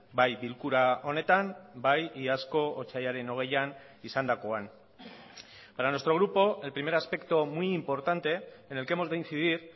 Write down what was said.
bai bilkura honetan bai iazko otsailaren hogeian izandakoan para nuestro grupo el primer aspecto muy importante en el que hemos de incidir